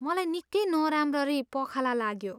मलाई निकै नराम्ररी पखाला लाग्यो।